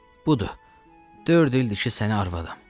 Budur, dörd ildir ki, sənin arvadam.